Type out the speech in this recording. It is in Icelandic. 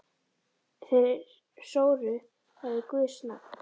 Þeir sóru það við guðs nafn.